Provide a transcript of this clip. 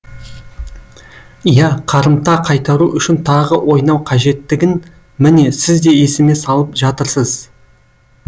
ия қарымта қайтару үшін тағы ойнау қажеттігін міне сіз де есіме салып жатырсыз